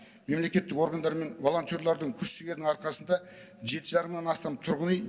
мемлекеттік органдар мен волонтерлардың күш жігерінің арқасында жеті жарым мыңнан астам тұрғын үй